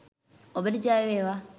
ඔබට ජය වේවා!